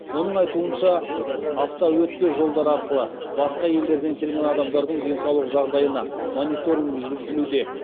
оның айтуынша автоөтпе жолдар арқылы басқа елдерден келген адамдардың денсаулық жағдайына мониторинг жүргізілуде